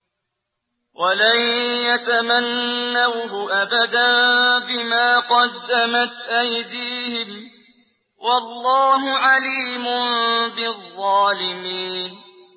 وَلَن يَتَمَنَّوْهُ أَبَدًا بِمَا قَدَّمَتْ أَيْدِيهِمْ ۗ وَاللَّهُ عَلِيمٌ بِالظَّالِمِينَ